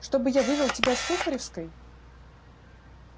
чтобы я вывел тебя с сухаревской